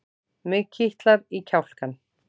Mig kitlar í kjálkann.